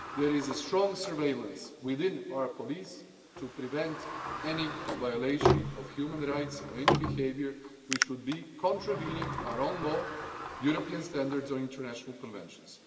There is strong surveillance within our police to prevent any violation of human rights, or any behaviour which would contravene our own law, European standards or international conventions.